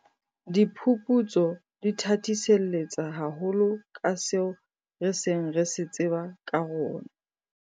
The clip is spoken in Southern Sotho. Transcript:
Diphuputso di thathiselletsa haholo ka seo re seng re se tseba ka rona.